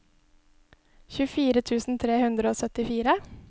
tjuefire tusen tre hundre og syttifire